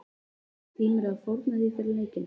Tímirðu að fórna því fyrir leikinn?